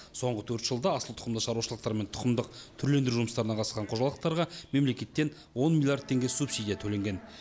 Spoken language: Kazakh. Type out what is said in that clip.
соңғы төрт жылда асыл тұқымды шаруашылықтар мен тұқымдық түрлендіру жұмыстарына қатысқан қожалықтарға мемлекеттен он миллиард теңге субсидия төленген